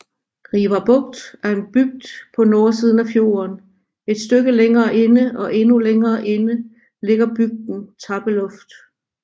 Rivarbukt er en bygd på nordsiden af fjorden et stykke længere inde og endnu længere inde ligger bygden Tappeluft